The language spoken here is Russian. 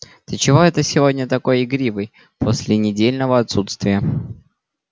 ты чего это сегодня такой игривый после недельного отсутствия